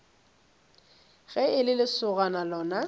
ge e le lesogana lona